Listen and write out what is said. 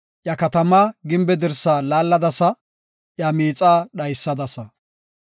Iya katamaa gimbe dirsa laalladasa; iya miixaa dhaysadasa.